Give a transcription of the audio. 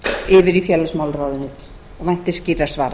yfir í félagsmálaráðuneytið ég vænti skýrra svara